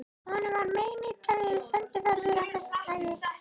Honum var meinilla við sendiferðir af þessu tagi.